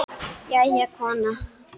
Jæja, kona.